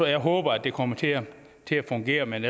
jeg håber at det kommer til at fungere men